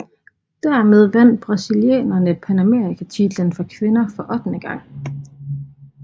Dermed vandt brasilianerne panamerikatitlen for kvinder for ottende gang